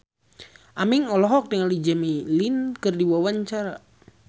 Aming olohok ningali Jimmy Lin keur diwawancara